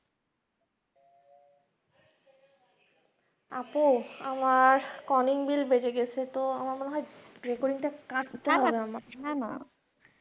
আপু আমার calling bell বেজে গেছে তো আমার মনে হয় recording টা কাটতে হবে